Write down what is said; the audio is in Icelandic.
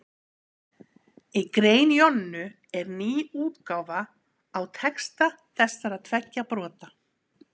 í grein jonnu er ný útgáfa á texta þessara tveggja brota